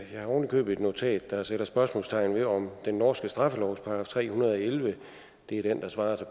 jeg har ovenikøbet et notat der sætter spørgsmålstegn ved om den norske straffelovs § tre hundrede og elleve det er den der svarer til